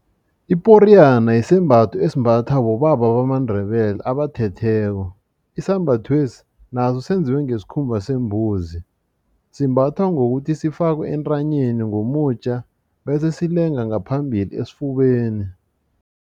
Iporiyana sisembatho esimbathwa bobaba bamaNdebele abathetheko isembathwesi naso senziwe ngesikhumba sembuzi simbathwa ngokuthi sifakwe entanyeni ngomutja bese silenga ngaphambili esifubeni.